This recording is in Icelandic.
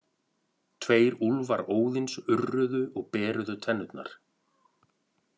Tveir úlfar Óðins urruðu og beruðu tennurnar.